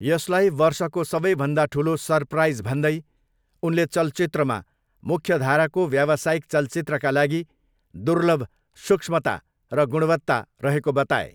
यसलाई 'वर्षको सबैभन्दा ठुलो सरप्राइज' भन्दै उनले चलचित्रमा मुख्यधाराको व्यावसायिक चलचित्रका लागि दुर्लभ 'सूक्ष्मता' र 'गुणवत्ता' रहेको बताए।